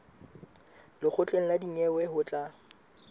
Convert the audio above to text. lekgotleng la dinyewe ho tla